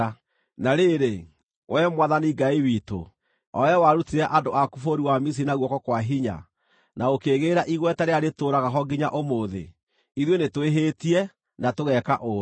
“Na rĩrĩ, Wee Mwathani Ngai witũ, o Wee warutire andũ aku bũrũri wa Misiri na guoko kwa hinya, na ũkĩĩgĩĩra igweta rĩrĩa rĩtũũraga ho nginya ũmũthĩ, ithuĩ Nĩtwĩhĩtie, na tũgeka ũũru.